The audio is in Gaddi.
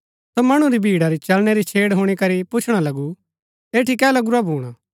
सो मणु री भिड़ा री चलणै री छेड़ हुणी करी पुछणा लगू ऐठी कै लगुरा भूणा